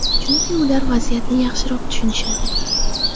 Chunki ular vaziyatni yaxshiroq tushunadi.